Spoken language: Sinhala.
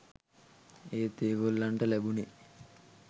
ඒත් ඒගොල්ලන්ට ලැබුණෙ